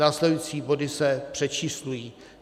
Následující body se přečíslují.